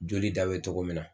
Joli da bɛ togomin na